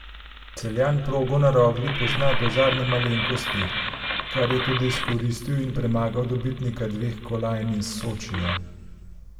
Celjan progo na Rogli pozna do zadnje malenkosti, kar je tudi izkoristil in premagal dobitnika dveh kolajn iz Sočija.